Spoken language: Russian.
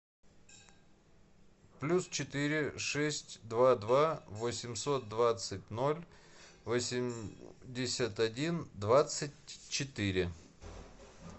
плюс четыре шесть два два восемьсот двадцать ноль восемьдесят один двадцать четыре